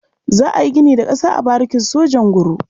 Za a yi gini da ƙasa a barikin sojan Nguru.